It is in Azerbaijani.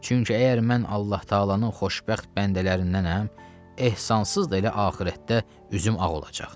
Çünki əgər mən Allah-Təalanın xoşbəxt bəndələrindənnəm, ehsansız da elə axirətdə üzüm ağ olacaq.